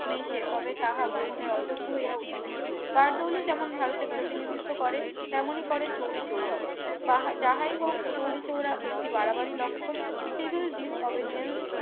মিশে তবে তাহা গ্রহণের অযোগ্য হইয়া উঠিবে বারদৌলি যেমন ভারতের প্রতিনিধিত্ব করে তেমনি করে চৌরিচৌরা বাহা যাহাই হোক চৌরিচৌরা একটি বাড়াবাড়ি লক্ষণ civil disobedience